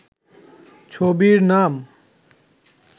ছবির নাম